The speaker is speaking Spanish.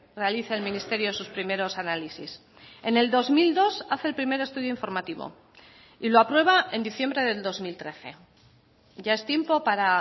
realiza el ministerio sus primeros análisis en el dos mil dos hace el primer estudio informativo y lo aprueba en diciembre del dos mil trece ya es tiempo para